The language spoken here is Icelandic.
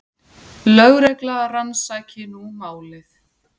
Lögregla rannsaki nú málið.